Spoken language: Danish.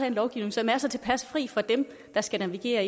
en lovgivning som er så tilpas fri fra dem der skal navigere